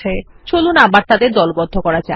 চলুন আবার তাদের দলবদ্ধ করা যাক